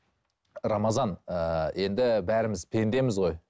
рамазан ыыы енді бәріміз пендеміз ғой